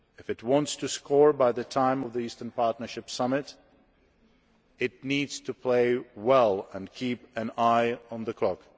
If it wants to score by the time of the Eastern Partnership Summit, it needs to play well and keep an eye on the clock.